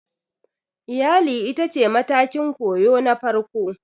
Iyali ita ce matakin koyo na farko